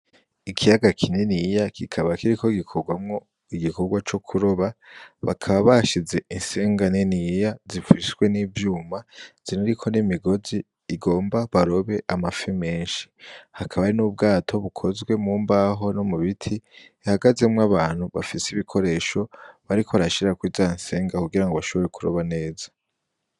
Ikiyaga kininiya kikaba kiriko gikorwamwo igikorwa co kuroba bakaba bashize insenga niniya zipfushwe n'ivyuma ziriko nimigozi igomba barobe amafi menshi hakaba ari n'ubwato bukozwe mu mbaho no mu biti ihagazemwo abantu bafise ibikoresho bariko barashira kuri za nsenga kugira ngo bashobore kuroba neza.